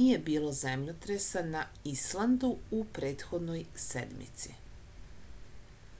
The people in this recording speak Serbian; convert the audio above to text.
nije bilo zemljotresa na islandu u prethodnoj sedmici